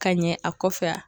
Ka ɲɛ a kɔfɛ wa ?